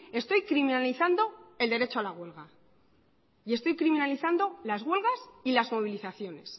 estoy criminalizando el derecho a la huelga y estoy criminalizando las huelgas y las movilizaciones